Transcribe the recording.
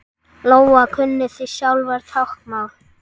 Lóa: Kunnið þið sjálfir táknmál?